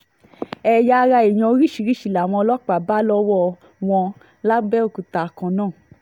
ẹ̀yà ara èèyàn oríṣiríṣiì làwọn ọlọ́pàá bá lọ́wọ́ wọn lápẹ̀òkúta kan náà